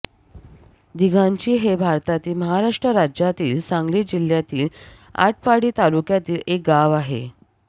दिघांची हे भारतातील महाराष्ट्र राज्यातील सांगली जिल्ह्यातील आटपाडी तालुक्यातील एक गाव आहे